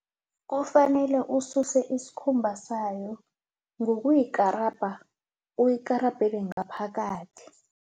Kufanele ususe isikhumba sayo ngokuyikarabha uyikarabhele ngaphakathi.